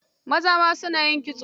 Maza ma su na yin kitso.